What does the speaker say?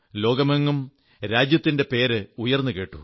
ലോകമെങ്ങും രാജ്യത്തിന്റെ പേര് ഉയർന്നുകേട്ടു